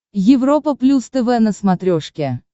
европа плюс тв на смотрешке